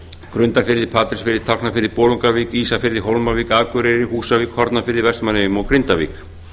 grundarfirði patreksfirði tálknafirði bolungarvík ísafirði hólmavík akureyri húsavík hornafirði vestmannaeyjum og grindavík